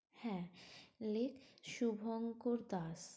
হ্যাঁ, লিখ শুভঙ্কর দাস।